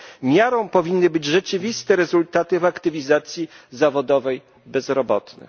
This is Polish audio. Miarą powinny być rzeczywiste rezultaty w aktywizacji zawodowej bezrobotnych.